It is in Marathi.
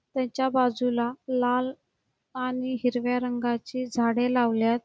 तेच्या बाजूला लाल आणि हिरव्या रंगाची झाड लावल्यात.